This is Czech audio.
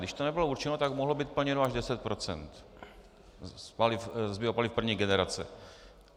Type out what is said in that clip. Když to nebylo určeno, tak mohlo být plněno až 10 % z biopaliv první generace.